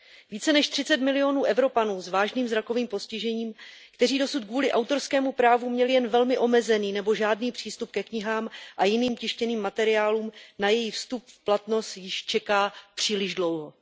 Více než 30 milionů Evropanů s vážným zrakovým postižením, kteří dosud kvůli autorskému právu měli jen velmi omezený nebo žádný přístup ke knihám a jiným tištěným materiálům, na její vstup v platnost již čeká příliš dlouho.